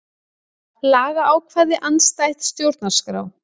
Lagaákvæði andstætt stjórnarskrá